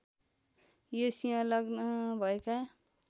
यो सिंह लग्न भएका